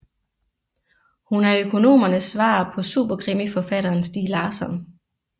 Hun er økonomernes svar på superkrimiforfatteren Stieg Larsson